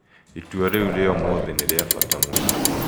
Itua rĩu rĩa ũmũthĩ nĩ rĩa bata mũno.